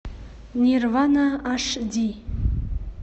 нирвана аш ди